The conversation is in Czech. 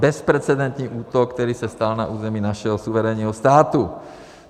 Bezprecedentní útok, který se stal na území našeho suverénního státu.